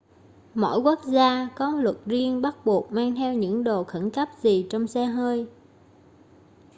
mỗi quốc gia có luật riêng bắt buộc mang theo những đồ khẩn cấp gì trong xe hơi